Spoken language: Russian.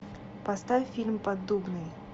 поставь фильм поддубный